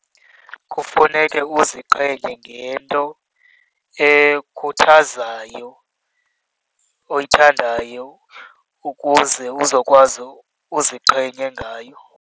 Kufuneke uziqhenye ngento ekukhuthazayo, oyithandayo ukuze uzokwazi uziqhenye ngayo.